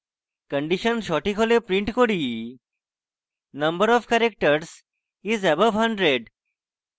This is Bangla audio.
condition সঠিক হলে print করি number of characters is above hundred